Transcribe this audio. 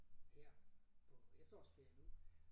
Her på efterårsferie nu